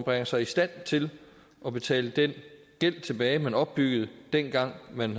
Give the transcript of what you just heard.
bringer sig i stand til at betale den gæld tilbage som man opbyggede dengang man